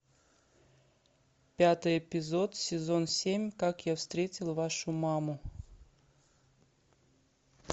пятый эпизод сезон семь как я встретил вашу маму